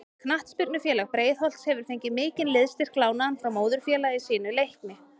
Knattspyrnufélag Breiðholts hefur fengið mikinn liðsstyrk lánaðan frá móðurfélagi sínu Leikni.